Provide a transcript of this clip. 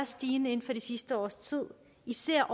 stigende inden for det sidste års tid især